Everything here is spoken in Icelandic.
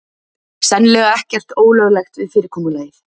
Sennilega ekkert ólöglegt við fyrirkomulagið